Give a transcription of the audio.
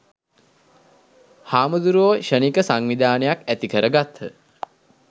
හාමුදුරුවෝ ක්ෂණික සංවිධානයක් ඇති කර ගත්හ.